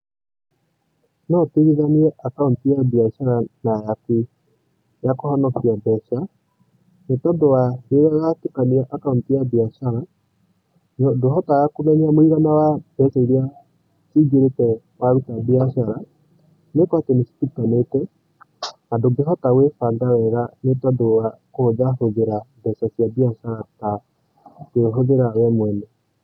No ũtigithanie account ya biacara na yaku ya kũhonokia mbeca, nĩ tondũ wa rĩrĩa watũkania account ya biacara, ndũhotaga kũmenya mũigana wa mbeca iria cingirĩte wa ruta biacara, nĩgũkorwo atĩ nĩ citukanĩte na ndũngĩhota gwĩbanga wega nĩtondũ wa kũhũthahũthĩra mbeca cia biacara ta we ũhũthĩraga we mwene.